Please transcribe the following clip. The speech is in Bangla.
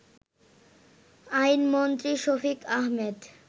আইনমন্ত্রী শফিক আহমেদ